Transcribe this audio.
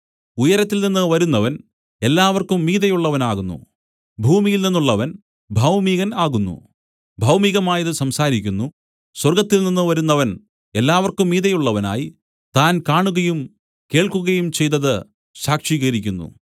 ഉയരത്തിൽനിന്ന് വരുന്നവൻ എല്ലാവർക്കും മീതെയുള്ളവനാകുന്നു ഭൂമിയിൽ നിന്നുള്ളവൻ ഭൗമികൻ ആകുന്നു ഭൗമികമായതു സംസാരിക്കുന്നു സ്വർഗ്ഗത്തിൽനിന്ന് വരുന്നവൻ എല്ലാവർക്കും മീതെയുള്ളവനായി താൻ കാണുകയും കേൾക്കുകയും ചെയ്തതു സാക്ഷീകരിക്കുന്നു